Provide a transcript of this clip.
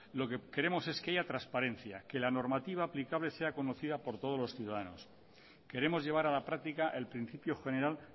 lo que queremos es que haya transparencia que la normativa aplicable sea conocida por todos los ciudadanos queremos llevar a la práctica el principio general